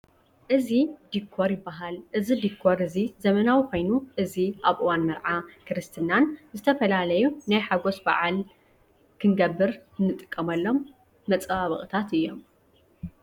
እዚ ዲኮር ይባሃል። እዚ ዲኮር እዚ ዘመናዊ ኮይኑ እዚ ኣብ እዋን መርዓ፣ ክርስትናን ዝተፈላለዩ ናይ ሓጎስ በዓል ክንገብር እንጥቀመሎም መፀባበቂታት እዮም።